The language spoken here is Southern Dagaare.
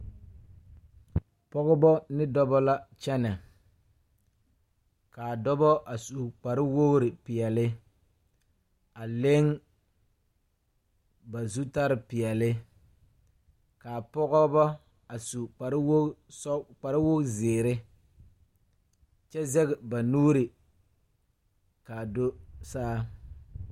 Pɔgebɔ ne dɔbɔ la kyɛnɛ kaa dɔbɔ a su kpariwogre peɛle a leŋ ba zutare peɛle kaa pɔgebɔ a su kparewogezeere kyɛ zɛge ba nuure kaa do saa.